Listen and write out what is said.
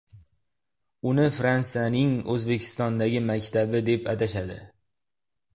Uni Fransiyaning O‘zbekistondagi maktabi deb atashadi.